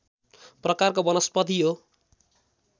प्रकारको वनस्पति हो